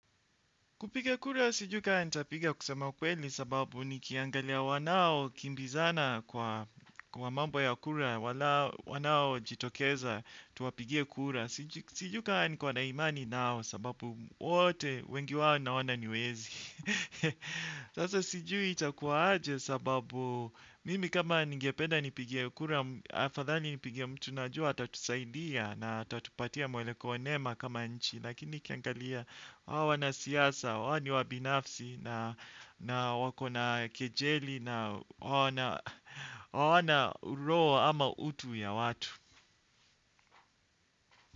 Kupiga kura sijui ka nitapiga kusema ukweli sababu nikiangalia wanao kimbizana kwa mambo ya kura wanao jitokeza tuwapigie kura. Sijui ka niko na imani nao sababu wote wengi wao naona ni wezi. Sasa sijui itakuwa aje sababu mimi kama ningependa nipige kura, afadhali nipigie mtu najua atatusaidia na atatupatia mwelekeo nema kama nchi. Lakini kiangalia hao wanasiyasa, wao ni wabinafsi na wako na kejeli na hawana roho ama utu ya watu.